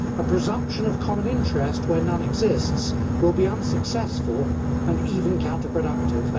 A presumption of common interest where none exists will be unsuccessful and even counterproductive.